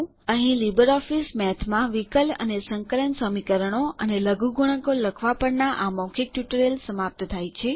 અહીં libre office મેથમાં વિકલ અને સંકલન સમીકરણો અને લઘુગુણકો લખવાં પરના આ ટ્યુટોરીયલ સમાપ્ત થાય છે